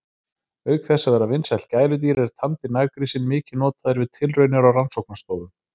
Auk þess að vera vinsælt gæludýr er tamdi naggrísinn mikið notaður við tilraunir á rannsóknastofum.